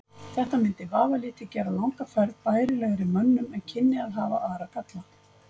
Þetta mundi vafalítið gera langa ferð bærilegri mönnum en kynni að hafa aðra galla.